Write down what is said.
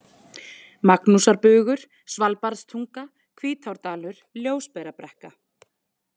Magnúsarbugur, Svalbarðstunga, Hvítárdalur, Ljósberabrekka